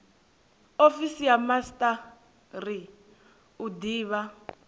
ofisi ya master u divha